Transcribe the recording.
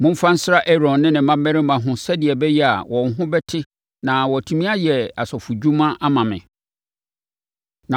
“Momfa nsra Aaron ne ne mmammarima ho sɛdeɛ ɛbɛyɛ a wɔn ho bɛte na wɔatumi ayɛ asɔfodwuma ama me.